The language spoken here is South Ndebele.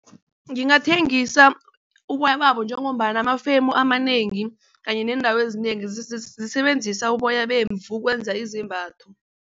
Ngingathengisa uboya babo njengombana amafemu amanengi kanye neendawo ezinengi zisebenzisa uboya bemvu ukwenza izembatho.